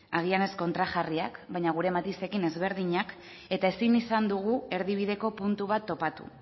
agian ez kontrajarriak baina gure matizekin ezberdinak eta ezin izan dugu erdibideko puntu bat topatu